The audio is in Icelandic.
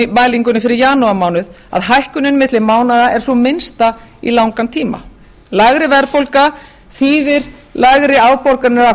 á verðbólgumælingunni fyrir janúarmánuð að hækkunin milli mánaða er sú minnsta í langan tíma lægri verðbólga þýðir lægri afborganir af